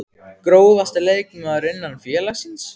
Grófasti leikmaður innan félagsins?